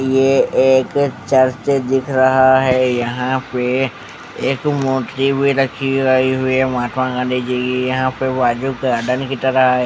यह एक चर्च दिख रहा है। यहां पर एक मूर्ति भी रखी हुई है। महात्मा गांधी जी की यहां पर। तरह है।